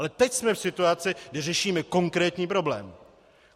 Ale teď jsme v situaci, kdy řešíme konkrétní problém.